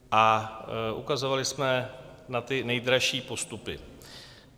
A ukazovali jsme na ty nejdražší postupy.